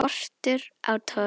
Skortur á togi